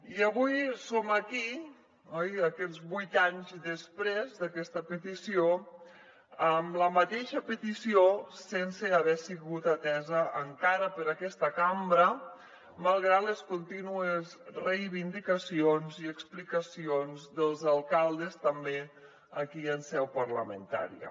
i avui som aquí oi vuit anys després d’aquesta petició amb la mateixa petició sense haver sigut atesa encara per aquesta cambra malgrat les contínues reivindicacions i explicacions dels alcaldes també aquí en seu parlamentària